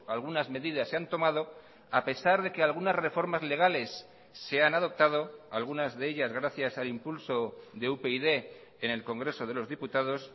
algunas medidas se han tomado a pesar de que algunas reformas legales se han adoptado algunas de ellas gracias al impulso de upyd en el congreso de los diputados